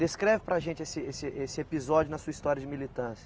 Descreve para a gente esse esse esse episódio na sua história de militância.